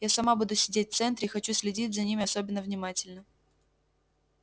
я сама буду сидеть в центре и хочу следить за ними особенно внимательно